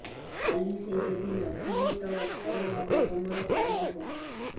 କାଲି ସେ ଯଦି ନଥିବେ ତ ଥରେ ଭାବ ତୁମର କଣ ହବ